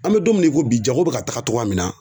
An bɛ don mina i ko bi jago bi ka taga cogoya min na